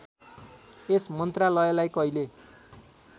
यस मन्त्रालयलाई कहिले